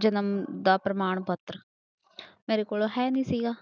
ਜਨਮ ਦਾ ਪ੍ਰਮਾਣ ਪੱਤਰ ਮੇਰੇ ਕੋਲ ਹੈ ਨੀ ਸੀਗਾ।